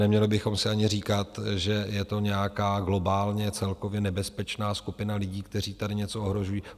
Neměli bychom si ani říkat, že je to nějaká globálně celkově nebezpečná skupina lidí, kteří tady něco ohrožují.